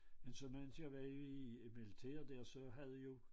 Men så mens jeg var i militær dér så havde jo